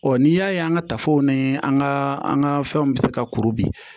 n'i y'a ye an ka tafow ni an ka an ka fɛnw bɛ se ka kuru bi